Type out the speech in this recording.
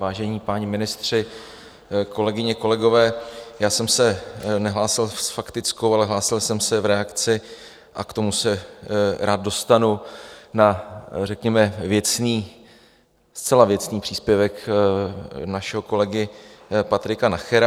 Vážení páni ministři, kolegyně, kolegové, já jsem se nehlásil s faktickou, ale hlásil jsem se v reakci - a k tomu se rád dostanu - na řekněme věcný, zcela věcný příspěvek našeho kolegy Patrika Nachera.